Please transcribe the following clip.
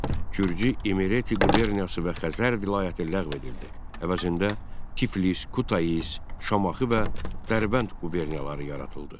Gürcü İmreti quberniyası və Xəzər vilayəti ləğv edildi, əvəzində Tiflis, Kutais, Şamaxı və Dərbənd quberniyaları yaradıldı.